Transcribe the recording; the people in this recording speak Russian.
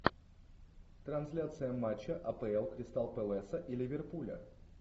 трансляция матча апл кристал пэласа и ливерпуля